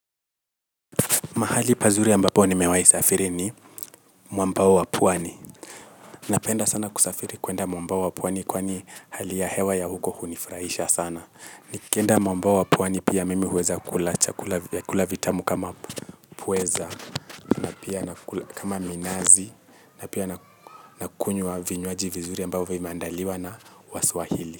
Mahali pazuri ambapo nimewahi safiri ni mwambao wa pwani. Napenda sana kusafiri kuenda mwambao wa pwani kwani hali ya hewa ya huko hunifurahisha sana. Nikienda mwambao wa pwani pia mimi huweza kula chakula vyakula vitamu kama pweza, pia kama minazi, na pia nakunywa vinywaji vizuri ambavyo vimeandaliwa na waswahili.